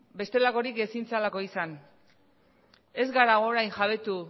bestelakorik ezin zelako izan ez gara orain jabetu